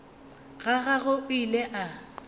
ga gagwe o ile a